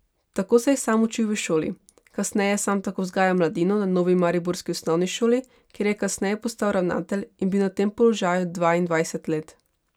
Tako se je sam učil v šoli, kasneje sam tako vzgajal mladino na novi mariborski osnovni šoli, kjer je kasneje postal ravnatelj in bil na tem položaju dvaindvajset let.